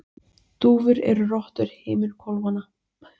dúfur eru rottur himinhvolfanna